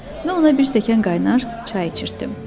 Mən ona bir stəkan qaynar çay içirtdim.